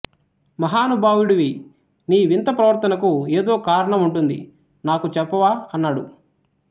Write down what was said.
మహానుభావుడివి నీ వింత ప్రవర్తనకు ఏదో కారణం ఉంటుంది నాకు చెప్పవా అన్నాడు